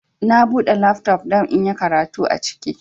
Na bude lafto don inyi karatu aciki